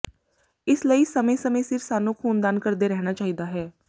ਇਸ ਲਈ ਸਮੇਂ ਸਮੇਂ ਸਿਰ ਸਾਨੂੰ ਖ਼ੂਨਦਾਨ ਕਰਦੇ ਰਹਿਣਾ ਚਾਹੀਦਾ ਹੈ